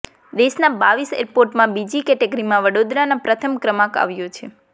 દેશના બાવીસ એરપોર્ટમાં બીજી કેટેગરીમાં વડોદરાના પ્રથમ ક્રમાંક આવ્યો છે